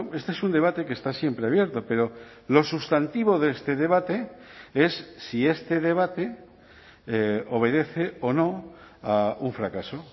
este es un debate que está siempre abierto pero lo sustantivo de este debate es si este debate obedece o no a un fracaso